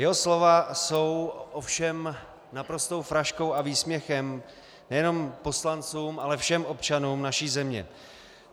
Jeho slova jsou ovšem naprostou fraškou a výsměchem nejenom poslancům, ale všem občanům naší země.